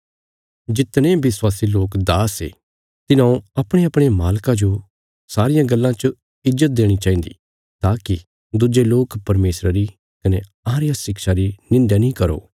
जितने विश्वासी लोक दास ये तिन्हौं अपणेअपणे मालका जो सारियां गल्लां च ईज्जत देणी चाहिन्दी ताकि दुज्जे लोक परमेशरा री कने अहां रिया शिक्षां री निंध्या नीं करो